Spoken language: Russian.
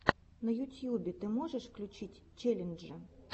на ютьюбе ты можешь включить челленджи